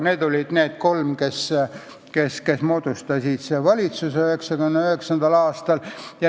Need olid need kolm, kes moodustasid 1999. aastal valitsuse.